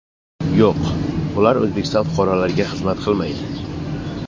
Yo‘q, bular O‘zbekiston fuqarolariga xizmat qilmaydi.